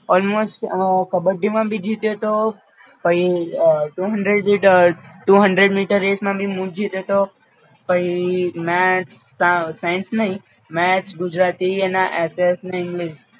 all most kabaddi માં ભી જીત્યોતો પણ Two hundred lit a two hundred meters race માં ભી મું જ જીત્યોતો પઈ મેથ્સ, સાઇન્સ નઇ મેથ્સ ગુજરાતી એના એસેસ ને એનવી